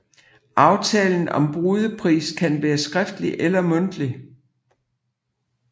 Aftalen om brudepris kan være skriftlig eller mundtlig